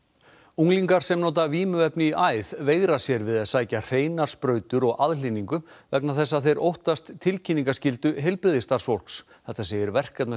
unglingar sem nota vímuefni í æð veigra sér við að sækja sér hreinar sprautur og aðhlynningu vegna þess að þeir óttast tilkynningaskyldu heilbrigðisstarfsfólks þetta segir